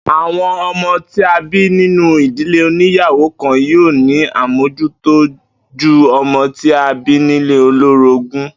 Àwo̩n o̩mó tí a bí nínú ìdílé oníyàwó-kan yóò ní àmójútó ju o̩mo̩ tí a bí nílé olórógún